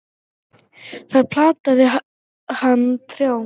Þar plantaði hann trjám.